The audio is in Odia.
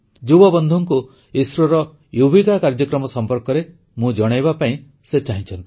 ଯୁବବନ୍ଧୁଙ୍କୁ ଇସ୍ରୋର ୟୁବିକା ୟୁଭିକ କାର୍ଯ୍ୟକ୍ରମ ସମ୍ପର୍କରେ ମୁଁ ଜଣାଇବା ପାଇଁ ସେ ଚାହୁଁଛନ୍ତି